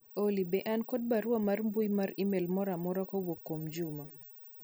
Olly be an kod barua mar mbui mar email moro amora kowuok kuom Juma